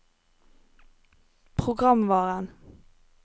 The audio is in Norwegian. programvaren